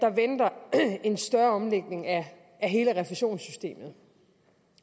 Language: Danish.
der venter en større omlægning af hele refusionssystemet